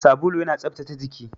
Sabulu yana tsaftace jiki.